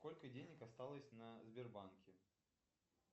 сколько денег осталось на сбербанке